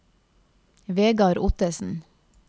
Vegard Ottesen